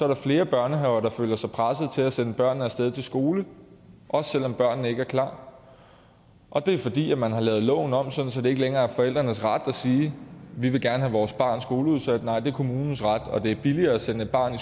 der flere børnehaver der føler sig presset til at sende børnene af sted i skole også selv om børnene ikke er klar og det er fordi man har lavet loven om så det ikke længere er forældrenes ret at sige vi vil gerne have vores barns skolestart udsat nej det er kommunens ret og det er billigere at sende et barn